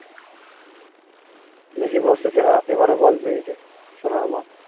Messi বর্ষসেরা এবারও ball পেয়েছে সোনার ball